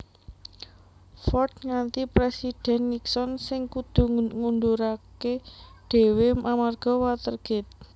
Ford ngganti Présidhèn Nixon sing kudu ngunduraké dhéwé amarga Watergate